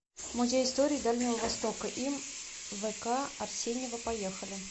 музей истории дальнего востока им вк арсеньева поехали